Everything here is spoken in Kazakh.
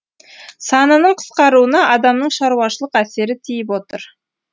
санының қысқаруына адамның шаруашылық әсері тиіп отыр